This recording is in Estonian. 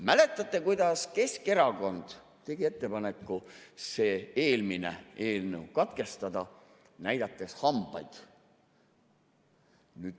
Mäletate, kuidas Keskerakond tegi ettepaneku see eelmine eelnõu katkestada, näidates hambaid?